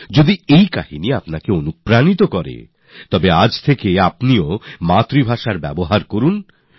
আপনি যদি এই কাহিনী থেকে অনুপ্রাণিত হন তাহলে আজ থেকেই নিজের মাতৃভাষার বুলিকে নিজে ব্যবহার করুন